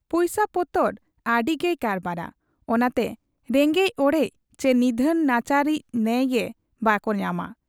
ᱯᱩᱭᱥᱟᱹᱯᱚᱛᱚᱨ ᱟᱹᱰᱤᱜᱮᱭ ᱠᱟᱨᱵᱟᱨᱟ ᱾ ᱚᱱᱟᱛᱮ ᱨᱮᱸᱜᱮᱡ ᱚᱲᱮᱡ ᱪᱤ ᱱᱤᱫᱷᱟᱹᱱ ᱱᱟᱪᱟᱨ ᱤᱡ ᱱᱭᱟᱭ ᱜᱮ ᱵᱟᱠᱚ ᱧᱟᱢᱟ ᱾